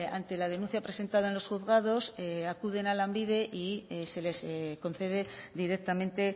ante la denuncia presentada en los juzgados acuden a lanbide y se les concede directamente